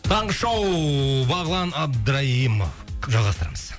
таңғы шоу бағлан абдраимов жалғастырамыз